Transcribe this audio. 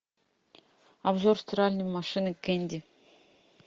обзор стиральной машины кенди